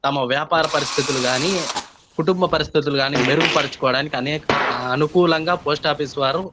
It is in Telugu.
తమ వ్యాపార పరిస్థితులు గాని తమ కుటుంబ పరిస్థితులు గాని మెరుగుపరుచుకోడానికి అనేక అనుకూలంగా పోస్ట్ ఆఫీస్ వారు --